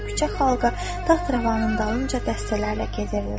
Küçə xalqı taxt-rəvanın dalınca dəstələrlə gəzirdi.